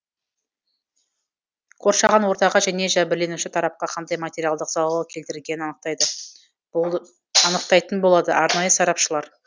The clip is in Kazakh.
қоршаған ортаға және жәбірленуші тарапқа қандай материалдық залал келтірілгенін анықтайтын болады арнайы сарапшылар